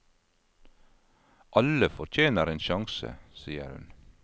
Alle fortjener en sjanse, sier hun.